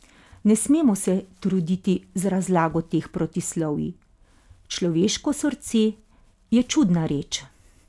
Ne smemo se truditi z razlago teh protislovij, človeško srce je čudna reč!